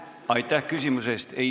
Aitäh küsimuse eest!